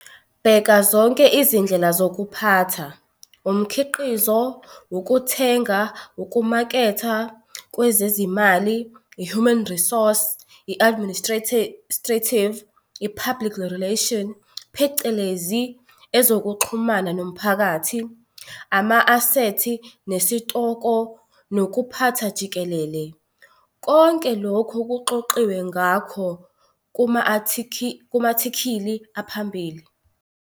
Bheka zonke izindlela zokuphatha - umkhiqizo, ukuthenga, ukumaketha, kwezezimali, ihuman resource, i-administrative, i-public relations phecelezi ezokuxhumana nomphakathi, ama-asethi nesitoko nokuphatha jikelele. Konke lokhu kuxoxiwe ngakho kuma-athikhili aphambili.